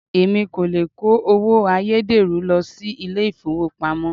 Èmi kò le kó owó ayédèrú lọ sí ilé ìfowópamọ́.